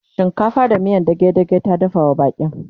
shinkafa da miyan dage dage ta dafawa baƙin